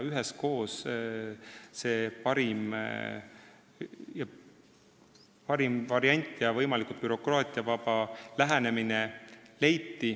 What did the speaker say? Üheskoos leiti parim variant ja võimalikult bürokraatiavaba lähenemine.